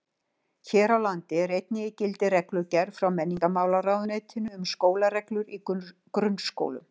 Hér á landi er einnig í gildi reglugerð frá menntamálaráðuneytinu um skólareglur í grunnskólum.